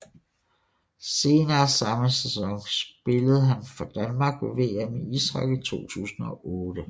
Senere samme sæson spillede han for Danmark ved VM i ishockey 2008